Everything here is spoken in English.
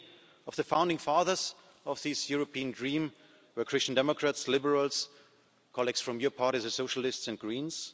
Many of the founding fathers of this European dream were Christian Democrats, Liberals, and colleagues from your parties, the Socialists and Greens.